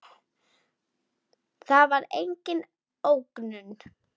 Það var engin ógnun.